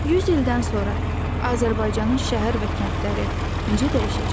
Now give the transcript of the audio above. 100 ildən sonra Azərbaycanın şəhər və kəndləri necə dəyişəcək?